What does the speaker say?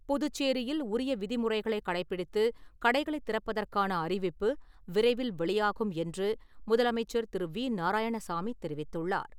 புதுச்சேரியில், உரிய விதிமுறைகளை கடைபிடித்து கடைகளை திறப்பதற்கான அறிவிப்பு, விரைவில் வெளியாகும் என்று, முதலமைச்சர் திரு.வி.நாராயணசாமி தெரிவித்துள்ளார்.